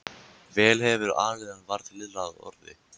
Vel hefurðu alið hann varð Lilla að orði.